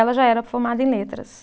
Ela já era formada em letras.